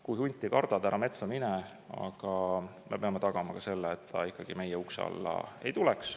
Kui hunti kardad, ära metsa mine, aga me peame tagama ka selle, et ta ikkagi meie ukse alla ei tuleks.